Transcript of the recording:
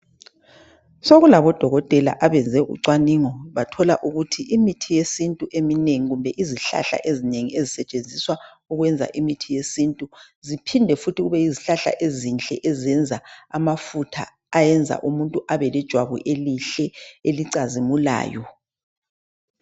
Sokulabodokotela abenze ubucwaningo bathola ukuthi imithi yesintu eminengi kumbe izihlahla ezinengi ezisetshenziswa ukwenza imithi yesintu ziphinde futhi kube yizihlahla ezinhle ezenza amafutha ayenza umuntu ebelejwabu elihle elicazimulayo